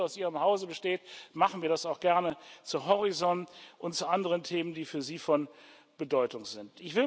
Weil der Wunsch aus Ihrem Hause besteht, machen wir das auch gerne zu Horizont und zu anderen Themen, die für Sie von Bedeutung sind.